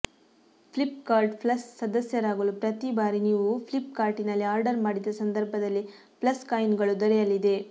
Flipkart plus ಸದಸ್ಯರಾಗಲು ಪ್ರತಿ ಬಾರಿ ನೀವು ಫ್ಲಿಪ್ ಕಾರ್ಟಿನಲ್ಲಿ ಆರ್ಡರ್ ಮಾಡಿದ ಸಂದರ್ಭದಲ್ಲಿ ಪ್ಲಸ್ ಕಾಯಿನ್ಗಳು ದೊರೆಯಲಿದೆ